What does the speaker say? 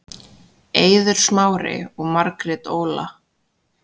Eiður Smári og Margrét Óla